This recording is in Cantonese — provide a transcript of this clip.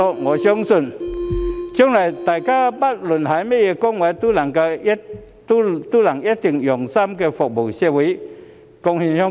我相信，將來大家不論擔當甚麼崗位，都一定會用心服務社會，貢獻香港。